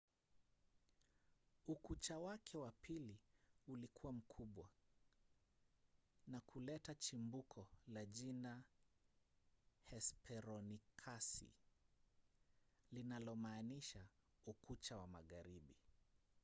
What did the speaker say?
ukucha wake wa pili ulikuwa mkubwa na kuleta chimbuko la jina hesperonikasi linalomaanisha ukucha wa magharibi.